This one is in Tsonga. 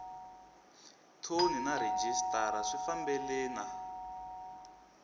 thoni na rhejisitara swi fambelena